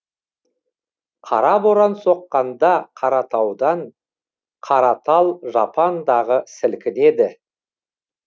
қара боран соққанда қаратаудан қара тал жапандағы сілкінеді